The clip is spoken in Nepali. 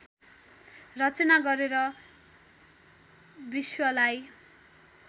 रचना गरेर विश्वलाई